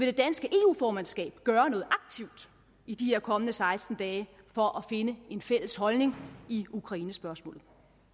det danske eu formandskab gøre noget aktivt i de her kommende seksten dage for at finde en fælles holdning i ukrainespørgsmålet